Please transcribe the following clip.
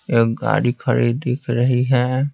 एक गाड़ी खड़ी दिख रही है।